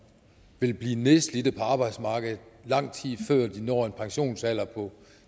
vil blive nedslidt på arbejdsmarkedet lang tid før de når en pensionsalder